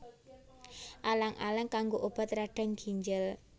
Alang alang kanggo obat radang ginjel